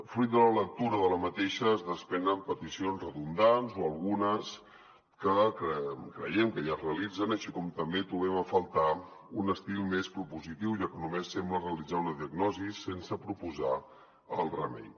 fruit de la lectura d’aquesta es despre·nen peticions redundants o algunes que creiem que ja es realitzen així com també trobem a faltar un estil més propositiu ja que només sembla realitzar una diagnosi sense proposar el remei